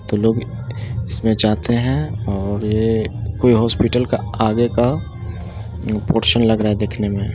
उ लोग उसमे जाते है और ये कोई हॉस्पिटल का आगे का पोरशन लग रहा है देखने में।